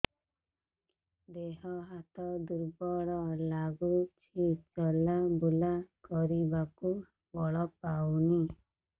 ଦେହ ହାତ ଦୁର୍ବଳ ଲାଗୁଛି ଚଲାବୁଲା କରିବାକୁ ବଳ ପାଉନି